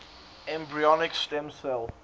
embryonic stem cell